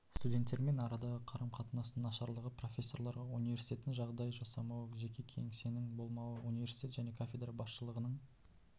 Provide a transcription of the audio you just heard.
студенттермен арадағы қарым-қатынастың нашарлығы профессорларға университеттің жағдай жасамауы жеке кеңсесінің болмауы университет және кафедра басшылығының